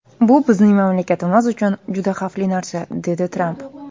Bu bizning mamlakatimiz uchun juda xavfli narsa”, dedi Tramp.